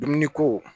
Dumuni ko